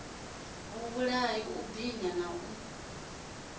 vhulaha u binya na u